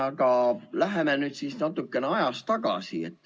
Aga läheme nüüd natuke ajas tagasi.